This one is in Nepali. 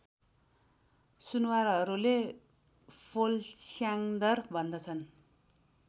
सुनुवारहरूले फोलस्याँदर भन्दछन्